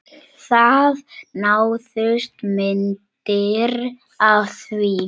Það náðust myndir af því